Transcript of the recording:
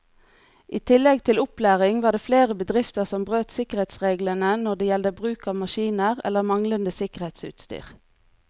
I tillegg til opplæring var det flere bedrifter som brøt sikkerhetsreglene når det gjelder bruk av maskiner eller manglende sikkerhetsutstyr.